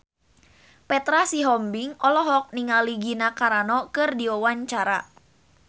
Petra Sihombing olohok ningali Gina Carano keur diwawancara